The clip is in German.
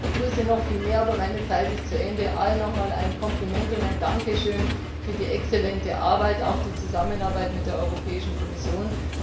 Ich begrüße noch viel mehr, aber meine Zeit ist zu Ende. Allen nochmals ein Kompliment und ein Dankeschön für die exzellente Arbeit und auch die gute Zusammenarbeit mit der Kommission!